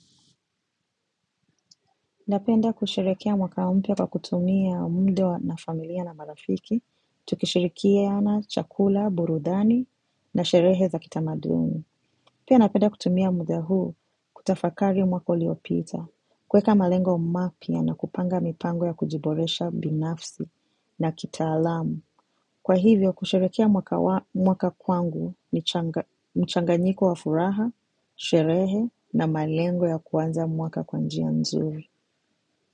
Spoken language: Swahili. Napenda kusherekea mwaka mpya kwa kutumia mda na familia na marafiki. Tukishirikiana chakula, burudani na sherehe za kitamaduni. Pia napenda kutumia muda huu kutafakari mwaka uliopita. Kueka malengo mapya nakupanga mipango ya kujiboresha binafsi na kitaalamu. Kwa hivyo kusherehekea mwaka kwangu ni mchanganyiko wa furaha, sherehe na malengo ya kuanza mwaka kwanjia nzuri.